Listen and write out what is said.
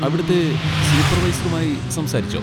അവിടുത്തെ സൂപ്പർവൈസറുമായി സംസാരിച്ചോ?